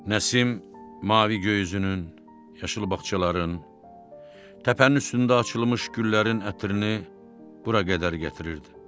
Nəsim mavi göyüsünün, yaşıl bağçaların, təpənin üstündə açılmış güllərin ətrini bura qədər gətirirdi.